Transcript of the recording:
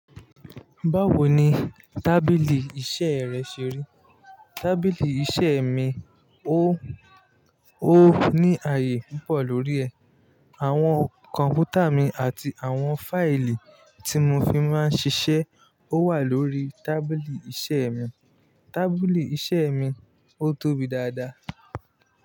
Báwo ni tábìlì iṣẹ́ rẹ ṣe rí? Tábìlì iṣẹ́ mi, ó, ó ní aàyè púpọ̀ lórí ẹ̀. Àwọn kọ̀ǹpútà mi àti àwọn fáìlì tí mo fi máa ń ṣiṣẹ́ ó wà lórí tábìlì iṣẹ́ mi. Tábìlì iṣẹ́ mi, ó tóbi dáadáa.